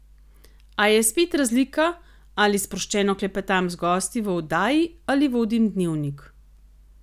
A je spet razlika, ali sproščeno klepetam z gosti v oddaji ali vodim Dnevnik.